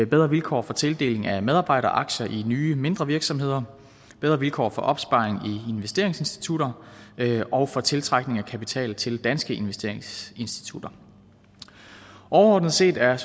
bedre vilkår for tildeling af medarbejderaktier i nye mindre virksomheder bedre vilkår for opsparing i investeringsinstitutter og for tiltrækning af kapital til danske investeringsinstitutter overordnet set er